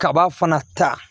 Kaba fana ta